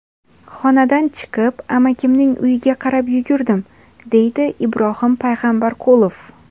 Xonadan chiqib, amakimning uyiga qarab yugurdim”, deydi Ibrohim Payg‘ambarqulov.